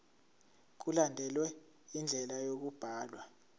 mkulandelwe indlela yokubhalwa